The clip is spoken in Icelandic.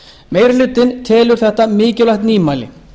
meiri hlutinn telur þetta mikilvægt nýmæli